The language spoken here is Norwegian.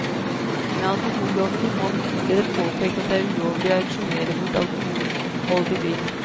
Med alkoholloven i hånd ble det påpekt at det er ulovlig å auksjonere bort alkoholholdig drikk.